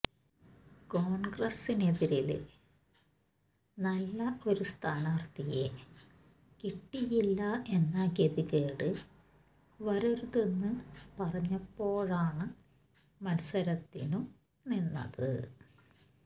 കോണ്ഗ്രസ്സിനെതിരില് നല്ല ഒരു സ്ഥാനാര്ഥിയെ കിട്ടിയില്ല എന്ന ഗതികേട് വരരുതെന്ന് പറഞ്ഞപ്പോഴാണ് മത്സരത്തിനു നിന്നത്